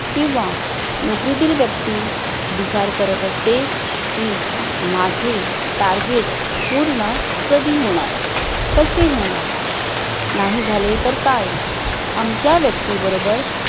किंवा नोकरीतील व्यक्ती विचार करत असते. की माझे टार्गेट पूर्ण कधी होणार? कसे होणार? नाही झाले तर काय? आमच्या व्यक्तीबरोबर